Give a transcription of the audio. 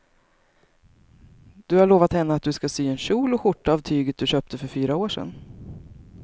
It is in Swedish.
Du har lovat henne att du ska sy en kjol och skjorta av tyget du köpte för fyra år sedan.